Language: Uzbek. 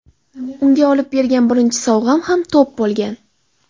Unga olib bergan birinchi sovg‘am ham to‘p bo‘lgan.